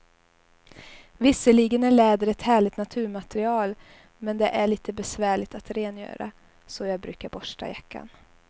Visserligen är läder ett härligt naturmaterial, men det är lite besvärligt att rengöra, så jag brukar borsta jackan.